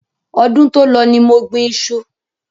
Ọdún to lọ ní mo gbìn iṣu